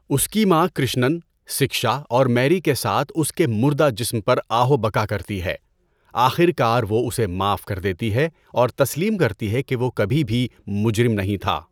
اس کی ماں کرشنن، سکشا اور میری کے ساتھ اس کے مردہ جسم پر آہ و بکا کرتی ہے، آخر کار وہ اسے معاف کر دیتی ہے اور تسلیم کرتی ہے کہ وہ کبھی بھی مجرم نہیں تھا۔